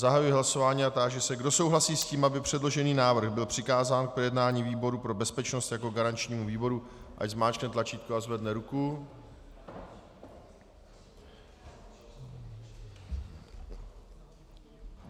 Zahajuji hlasování a táži se, kdo souhlasí s tím, aby předložený návrh byl přikázán k projednání výboru pro bezpečnost jako garančnímu výboru, ať zmáčkne tlačítko a zvedne ruku.